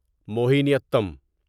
Mohiniyattam